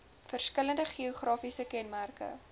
verskillende geografiese kenmerke